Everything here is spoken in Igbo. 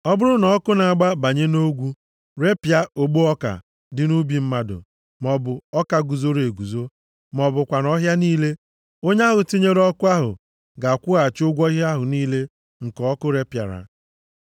“Ọ bụrụ na ọkụ na-agba banye nʼogwu, repịa ogbo ọka dị nʼubi mmadụ maọbụ ọka guzoro eguzo, ma ọ bụkwanụ ọhịa niile, onye ahụ tinyere ọkụ ahụ ga-akwụghachi ụgwọ ihe ahụ niile nke ọkụ repịara. + 22:6 Ọ bụ osisi ogwu ogwu puru nʼọhịa ka a na-eji agba ubi ogige maọbụ gbachie ụzọ.